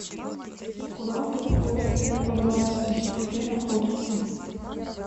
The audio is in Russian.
скуратов кофе роастерс где находится